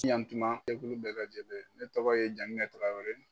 Yantuma jɛkulu bɛɛ lajɛlen, ne tɔgɔ ye Jankinɛ Traore